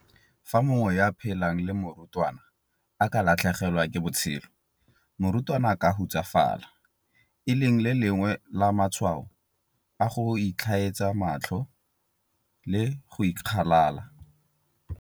Fa mongwe yo a phelang le morutwana a ka latlhegelwa ke botshelo, morutwana a ka hutsafala, e leng le lengwe la matshwao a go itlhaetsa matlho le go ikgalala.